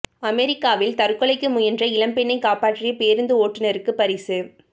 அமெரிக்காவில் தற்கொலைக்கு முயன்ற இளம்பெண்ணை காப்பாற்றிய பேருந்து ஓட்டுனருக்கு பரிசு